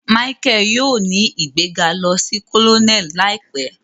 Michael yóò ní igbega lò sí Colonel láìpé